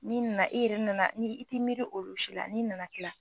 N'i nana e yɛrɛ nana ni i ti miiri olu si la n'i nana kila.